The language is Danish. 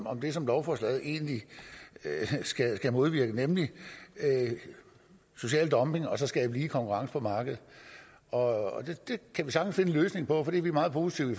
om det som lovforslaget egentlig skal modvirke nemlig social dumping og så skal lige konkurrence på markedet og det kan vi sagtens finde en løsning på og det er vi meget positive